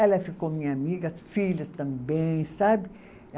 Ela ficou minha amiga, as filhas também, sabe?